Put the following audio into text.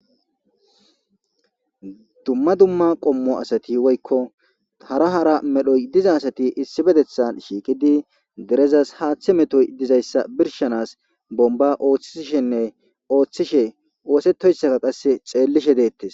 Dumma dumma qommo asati woykko tara hara medhoy diza asati issi bedethan shiiqidi derezas haaththe metoy dizayssa birshanas bomba ooththishenne ooththishe oosetoyssaka qasse xeellishe deettes.